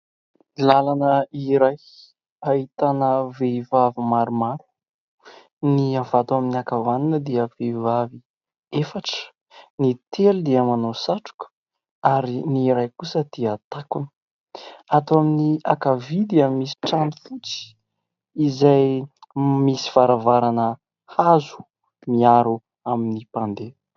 Lalana iray ahitana vehivavy maromaro: ny avy ato amin'ny ankavanana dia vehivavy efatra, ny telo dia manao satroka ary ny iray kosa dia takona. Ato amin'ny ankavia misy trano fotsy izay misy varavarana hazo miaro amin'ny mpandeha.